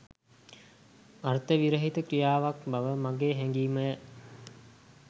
අර්ථ විරහිත ක්‍රියාවක් බව මගේ හැගීමය